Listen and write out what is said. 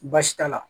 Baasi t'a la